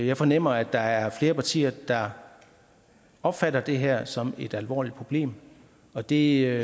jeg fornemmer at der er flere partier der opfatter det her som et alvorligt problem og det